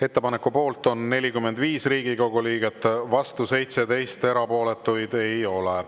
Ettepaneku poolt on 45 Riigikogu liiget, vastu 17, erapooletuid ei ole.